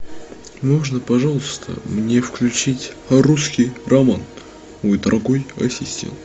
можно пожалуйста мне включить русский роман мой дорогой ассистент